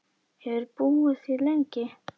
Hefurðu búið hér lengi?